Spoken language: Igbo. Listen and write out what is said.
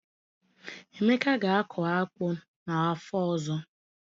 Emeka ga-akụ akpu n’afọ ọzọ.